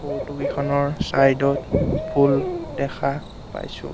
Photo কিখনৰ side ত ফুল দেখা পাইছোঁ।